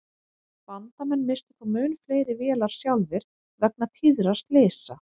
Bandamenn misstu þó mun fleiri vélar sjálfir vegna tíðra slysa.